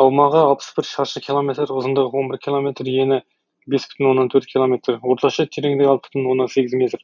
аумағы алпыс бір шаршы километр ұзындығы он бір километр ені бес бүтін оннан төрт километр орташа тереңдігі алты бүтін оннан сегіз метр